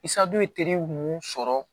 Isa dun ye teriw mun sɔrɔ